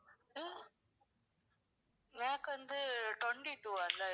எனக்கு வந்து twenty two அதான்